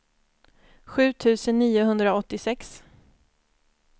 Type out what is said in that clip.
sju tusen niohundraåttiosex